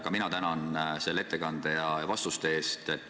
Ka mina tänan selle ettekande ja vastuste eest!